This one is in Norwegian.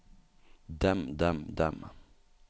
dem dem dem